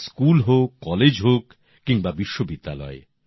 তা স্কুল হোক কলেজ হোক কিংবা বিশ্ববিদ্যালয়